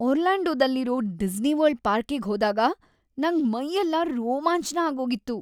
ಒರ್ಲ್ಯಾಂಡೊದಲ್ಲಿರೋ Disney World ಪಾರ್ಕಿಗ್ ಹೋದಾಗ ನಂಗ್ ಮೈಯೆಲ್ಲ ರೋಮಾಂಚ್ನ ಆಗೋಗಿತ್ತು.